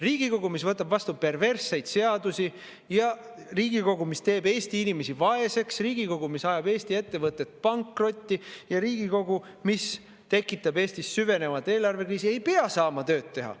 Riigikogu, mis võtab vastu perversseid seadusi, ja Riigikogu, mis teeb Eesti inimesi vaeseks, ja Riigikogu, mis ajab Eesti ettevõtted pankrotti, ja Riigikogu, mis tekitab Eestis süvenevat eelarvekriisi, ei pea saama tööd teha.